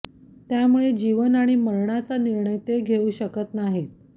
त्यामुळे जीवन आणि मरणाचा निर्णय ते घेऊ शकत नाहीत